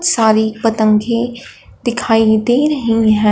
सारी पतंगे दिखाई दे रही हैं।